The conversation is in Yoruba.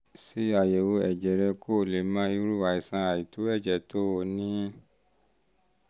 ṣe àyẹ̀wò ẹ̀jẹ̀ rẹ kó o lè mọ irú àìsàn àìtó ẹ̀jẹ̀ tó um o ní ní